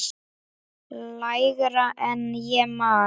Lægra en ég man.